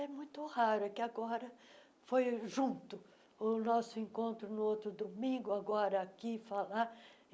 É muito raro é que agora... Foi junto o nosso encontro, no outro domingo, agora aqui falar.